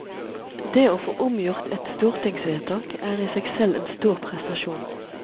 Det å få omgjort et stortingsvedtak er i seg selv en stor prestasjon.